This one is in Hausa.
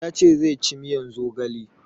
Ya ce ya ci miyan zogale